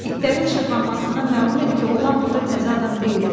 İtlərin şırvanmasından məlum idi ki, oğlan burda təzə adam deyildi.